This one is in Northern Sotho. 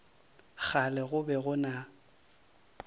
kgale go be go na